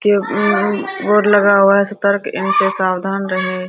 एक बोर्ड लगा हुआ है सतर्क इनसे सावधान रहें।